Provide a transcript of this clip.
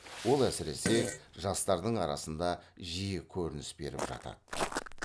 ол әсіресе жастардың арасында жиі көрініс беріп жатады